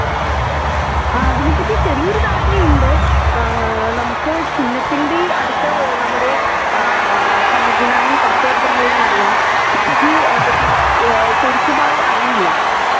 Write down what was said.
ആ അതിനെപ്പറ്റി ചെറിയ ഒരു ധാരണയുണ്ട് ആ നമുക്ക് ചിഹ്നത്തിന്റെ അടുത്ത് നമ്മുടെ ആ സമ്മതിദാനം ഉറപ്പുവരുത്തണ്ടത് എന്നറിയാം ബാക്കി കറ ശെരിക്കുമായി അറിയില്ല